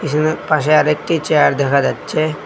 পাশে আরেকটি চেয়ার দেখা যাচ্ছে।